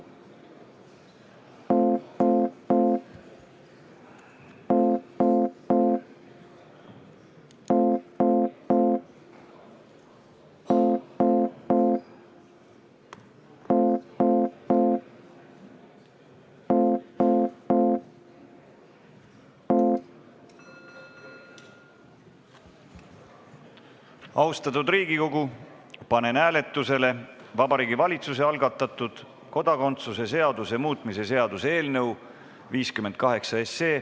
Austatud Riigikogu, panen hääletusele Vabariigi Valitsuse algatatud kodakondsuse seaduse muutmise seaduse eelnõu 58.